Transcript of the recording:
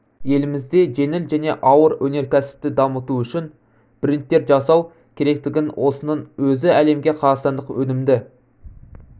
елімізде жеңіл және ауыр өнеркәсіпті дамыту үшін брендтер жасау керектігін осының өзі әлемге қазақстандық өнімді